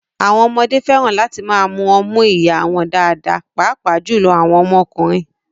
Àwọn ọmọdé fẹ́ràn láti máa mu ọmú ìyá wọn dáadáa, pàápàá jùlọ àwọn ọmọkùnrin